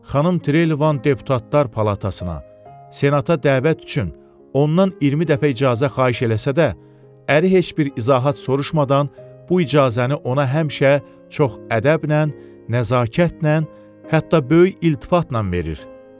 Xanım Trelivan deputatlar palatasına, senata dəvət üçün ondan 20 dəfə icazə xahiş eləsə də, əri heç bir izahat soruşmadan bu icazəni ona həmişə çox ədəblə, nəzakətlə, hətta böyük iltifatla verir.